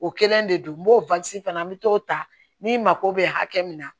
O kɛlen de don n b'o fana n mi t'o ta ni mako bɛ hakɛ min na